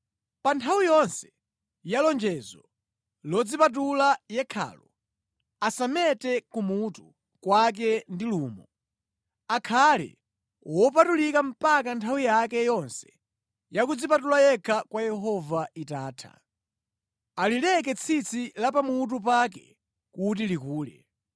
“ ‘Pa nthawi yonse ya lonjezo lodzipatula yekhalo, asamete kumutu kwake ndi lumo. Akhale wopatulika mpaka nthawi yake yonse ya kudzipatula yekha kwa Yehova itatha. Alileke tsitsi la pamutu pake kuti likule.’